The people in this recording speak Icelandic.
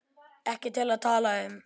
Ekki til að tala um.